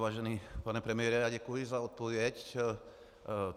Vážený pane premiére, děkuji za odpověď.